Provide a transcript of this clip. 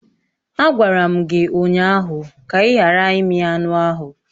Agwara m gị ụnyaahụ ka ị ghara imi anụ ahụ!